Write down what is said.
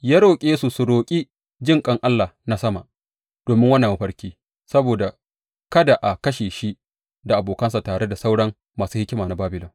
Ya roƙe su su roƙi jinƙan Allah na sama domin wannan mafarki, saboda kada a kashe shi da abokansa tare da sauran masu hikima na Babilon.